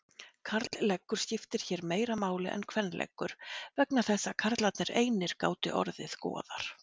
Karlleggur skiptir hér meira máli en kvenleggur vegna þess að karlar einir gátu orðið goðar.